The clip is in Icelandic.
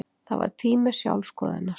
Það var tími sjálfsskoðunar.